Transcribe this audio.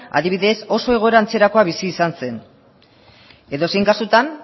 adibidez oso egoera antzerakoa bizi izan zen edozein kasutan